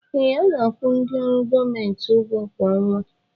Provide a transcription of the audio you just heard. Ee, a na-akwụ ndị ọrụ gọọmenti ụgwọ kwa ọnwa